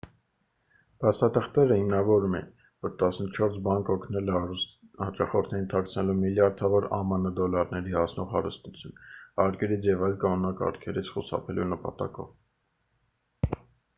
փաստաթղթերը հիմնավորում էին որ տասնչորս բանկ օգնել է հարուստ հաճախորդներին թաքցնելու միլիարդավոր ամն դոլարների հասնող հարստություն հարկերից և այլ կանոնակարգերից խուսափելու նպատակով